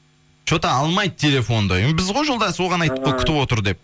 че то алмайды телефонды біз ғой жолдасы оған айттық қой күтіп отыр деп